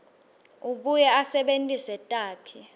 abuye asebentise takhi